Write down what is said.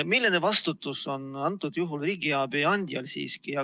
Milline vastutus on sellisel juhul riigiabi andjal?